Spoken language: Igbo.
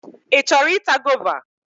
Ị chọrọ ịta gova?